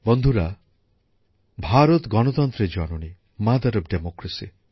বন্ধুরা ভারত গণতন্ত্রের জননী মাদার অফ ডেমোক্রেসি